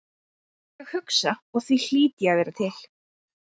Ég hugsa og því hlýt ég að vera til.